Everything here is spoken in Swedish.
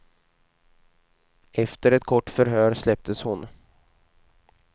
Efter ett kort förhör släpptes hon.